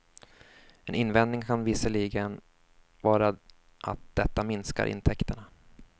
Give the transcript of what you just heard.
En invändning kan visserligen vara att detta minskar intäkterna.